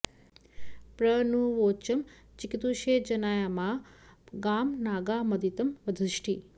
प्र नु वोचं चिकितुषे जनाय मा गामनागामदितिं वधिष्ट